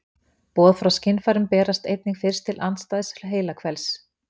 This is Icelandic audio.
Boð frá skynfærum berast einnig fyrst til andstæðs heilahvels.